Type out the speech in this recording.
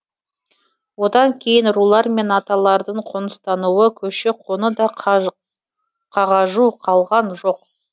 одан кейін рулар мен аталардың қоныстануы көші қоны да қағажу қалған жоқ